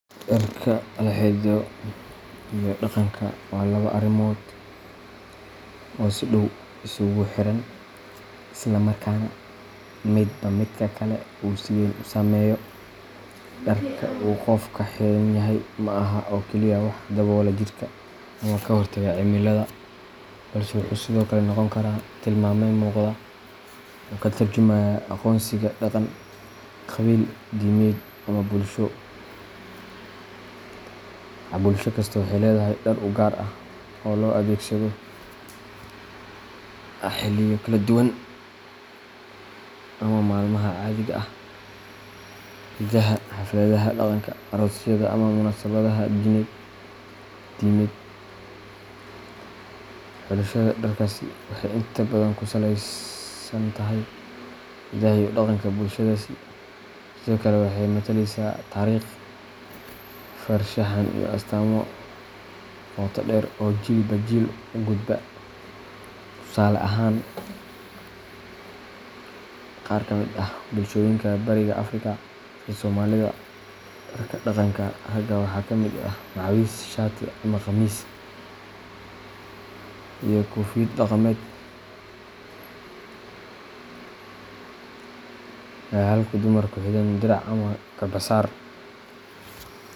Dharka la xidho iyo dhaqanka waa laba arrimood oo si dhow isugu xiran, isla markaana midba midka kale uu si weyn u saameeyo. Dharka uu qofku xidhan yahay ma aha oo keliya wax daboola jidhka ama ka hortaga cimilada, balse wuxuu sidoo kale noqon karaa tilmaame muuqda oo ka tarjumaya aqoonsiga dhaqan, qabiil, diimeed, ama bulsho. Bulsho kasta waxay leedahay dhar u gaar ah oo loo adeegsado xilliyo kala duwan, sida maalmaha caadiga ah, ciidaha, xafladaha dhaqanka, aroosyada, ama munaasabadaha diimeed. Xulashada dharkaasi waxay inta badan ku salaysan tahay hidaha iyo dhaqanka bulshadaasi, sidoo kale waxay matalaysaa taariikh, farshaxan, iyo astaamo qoto dheer oo jiilba jiil u gudba. Tusaale ahaan, qaar ka mid ah bulshooyinka Bariga Afrika, sida Soomaalida, dharka dhaqanka ragga waxaa ka mid ah macawis, shaati ama khamiis, iyo koofiyad dhaqameed, halka dumarku xidhaan dirac ama garbasaar.